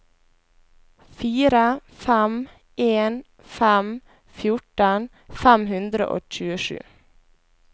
fire fem en fem fjorten fem hundre og tjuesju